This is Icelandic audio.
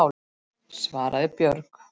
svaraði Björg.